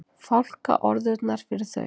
Fálkaorðunnar fyrir þau.